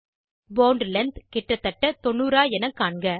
bond length கிட்டத்தட்ட 90 ஆ என காண்க